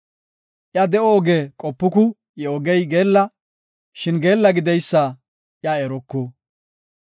Iya de7o oge qopuku; I ogey geella; shin geella gideysa iya eruku.